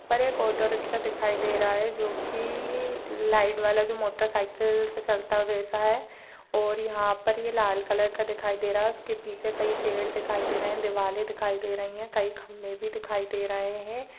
यहा पर एक ऑटो रिक्शा दिखाई दे रहा है जो कि लाइट वाला जो मोटर साइकिल से चलता है वैसा है और यहा पर ये लाल कलर का दिखाई दे रहा है उसके पीछे कई पेड़ दिखाई दे रहे है दीवारे दिखाई दे रही है कई खम्बे भी दिखाई दे रहे है।